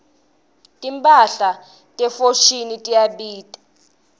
timphahla te foschini tiyabita